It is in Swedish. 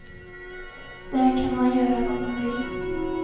Där kan man göra vad man vill.